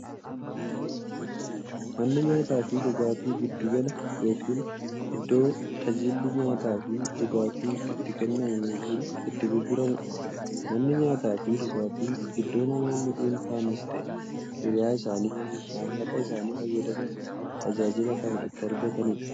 Manni nyaataafi dhugaatii giddu gala yookiin iddoo taajilli nyaataafi dhugaatii itti kennamu yookiin itti gurguramuudha. Manni nyaataafi dhugaatii iddoo namoonni dhunfanis ta'ee hiriyyaa isaanii waliin maallaqa isaanii fayyadamuun tajaajila kana itti argataniidha.